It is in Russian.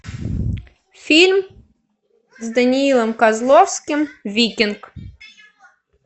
фильм с даниилом козловским викинг